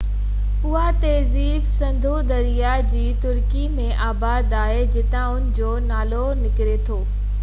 اها تهذيب سنڌو درياه جي تري ۾ آباد آهي جتان ان جو نالي نڪري ٿو